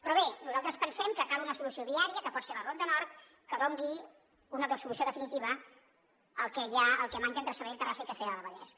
però bé nosaltres pensem que cal una solució viària que pot ser la ronda nord que doni una solució definitiva al que manca entre sabadell terrassa i castellar del vallès